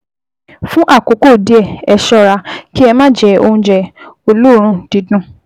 Fún àkókò díẹ̀, ẹ ṣọ́ra kí ẹ má jẹ oúnjẹ olóòórùn dídùn